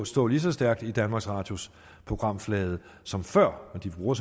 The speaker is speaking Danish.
stå lige så stærkt i danmarks radios programflade som før og de bruger